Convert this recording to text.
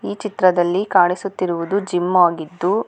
ಈ ಚಿತ್ರದಲ್ಲಿ ಕಾಣಿಸುತ್ತಿರುವುದು ಜಿಮ್ ಆಗಿದ್ದು--